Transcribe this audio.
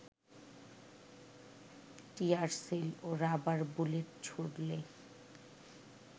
tear shell ও rubber bullet ছুড়লে